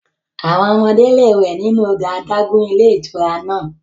Àwọn ọmọdé lè wẹ̀ nínú odò adágún ilé ìtura náà.